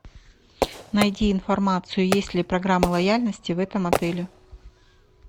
найди информацию есть ли программа лояльности в этом отеле